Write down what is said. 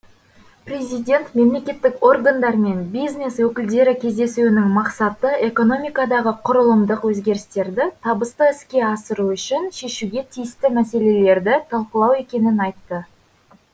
президент мемлекеттік органдар мен бизнес өкілдері кездесуінің мақсаты экономикадағы құрылымдық өзгерістерді табысты іске асыру үшін шешуге тиісті мәселелерді талқылау екенін айтты